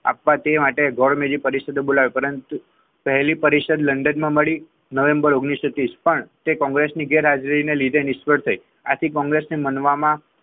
આપવા તે માટે બીજું ગોળમેજી પરિષદ બોલાવી પરંતુ પરંતુ પહેલી પરિસ્થિતિ લંડન માં મળી નવેમ્બર ઓગણીસો ત્રીસ માં તે કોંગ્રેસની ગેરહાજરીને લીધે નિષ્ફળ રહી આથી કોંગ્રેસને માનવામાં,